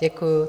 Děkuju.